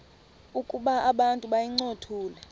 ukuba abantu bayincothule